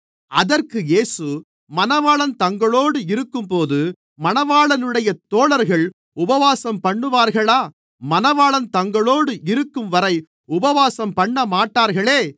அதற்கு இயேசு மணவாளன் தங்களோடு இருக்கும்போது மணவாளனுடைய தோழர்கள் உபவாசம்பண்ணுவார்களா மணவாளன் தங்களோடு இருக்கும்வரை உபவாசம்பண்ணமாட்டார்களே